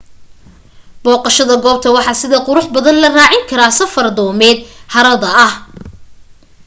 booqashada goobta waxa sida quruxda badan la raacin karaa safar doomeed harada ah